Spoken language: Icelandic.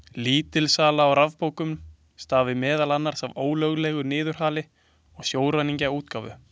Lítil sala á rafbókum stafi meðal annars af ólöglegu niðurhali og sjóræningjaútgáfu.